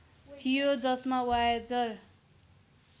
थियो जसमा वायेजर